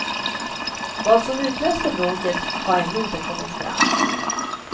Vad som utlöste bråket har ännu inte kommit fram.